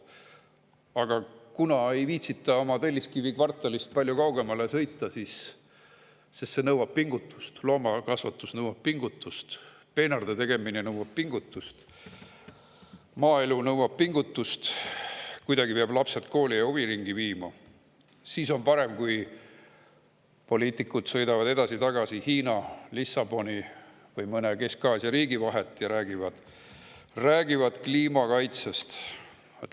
Aga kuna ei viitsita oma Telliskivi kvartalist palju kaugemale sõita, sest see nõuab pingutust, loomakasvatus nõuab pingutust, peenarde tegemine nõuab pingutust, maaelu nõuab pingutust, kuidagi peab lapsed kooli ja huviringi viima, siis on parem, kui poliitikud sõidavad edasi-tagasi Hiina, Lissaboni või mõne Kesk-Aasia riigi vahet ja räägivad kliimakaitsest.